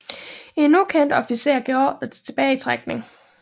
En ukendt officer gav ordre til tilbagetrækning